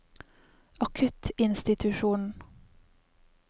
akuttinstitusjonen